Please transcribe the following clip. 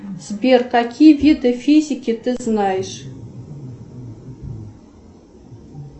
сбер какие виды физики ты знаешь